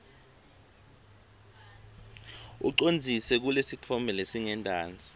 ucondzise kulesitfombe lesingentasi